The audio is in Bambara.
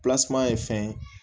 ye fɛn ye